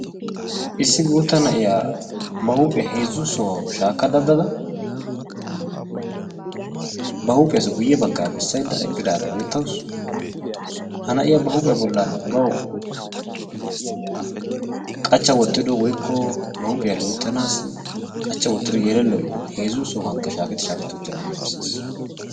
issi guutta na'iya ba huhphiya heezu sohuwawu shaakka daddada ba huuphiyassi guye bagaa bessaydda eqqidaara beettawusu. ha na'iyaa ba huuphiya bolan bawu qachcha wottido woykko ba huuphiya loytanaassi qachcha wotiddo yelelloy heezzu sohuwan shaaketti shaaketi utidagaa besees.